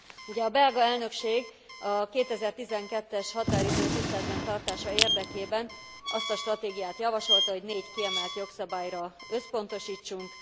Ugye a belga elnökség a 2012 es határidő tiszteletben tartása érdekében azt a stratégiát javasolta, hogy négy kiemelt jogszabályra összpontosítsunk.